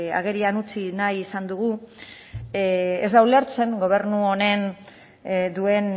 agerian utzi nahi izan dugu ez da ulertzen gobernu honek duen